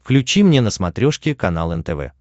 включи мне на смотрешке канал нтв